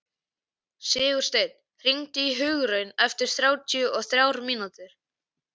Sigursteinn, hringdu í Hugraun eftir þrjátíu og þrjár mínútur.